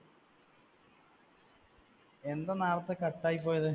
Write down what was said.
എന്താ നേരത്തെ cut ആയിപ്പോയത്?